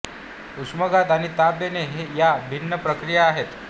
उष्माघात आणि ताप येणे या भिन्न प्रक्रिया आहेत